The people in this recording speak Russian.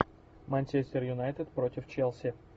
манчестер юнайтед против челси